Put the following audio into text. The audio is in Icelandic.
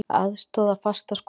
Aðstoða fasta skútu